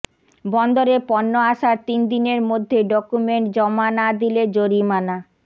বন্দরে পণ্য আসার তিন দিনের মধ্যে ডকুমেন্ট জমা না দিলে জরিমানা